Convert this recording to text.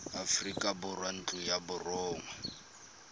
aforika borwa ntlo ya borongwa